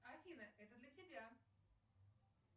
афина это для тебя